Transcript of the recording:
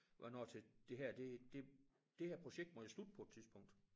Hvad når til det her det det det her projekt må jo slutte på et tidspunkt